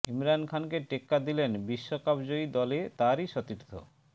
ইমরান খানকে টেক্কা দিলেন বিশ্বকাপ জয়ী দলে তাঁরই সতীর্থ